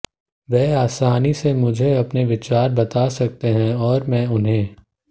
वह आसानी से मुझे अपने विचार बता सकते हैं और मैं उन्हें